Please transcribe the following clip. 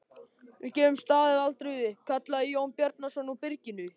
Við gefum staðinn aldrei upp, kallaði Jón Bjarnason úr byrginu.